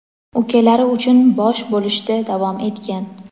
ukalari uchun bosh bo‘lishda davom etgan.